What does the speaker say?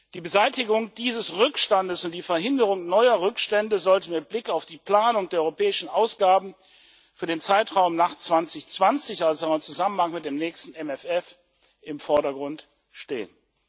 Die Beseitigung dieses Rückstandes und die Verhinderung neuer Rückstände sollten mit Blick auf die Planung der europäischen Ausgaben für den Zeitraum nach 2020, also im Zusammenhang mit dem nächsten MFR, im Vordergrund stehen.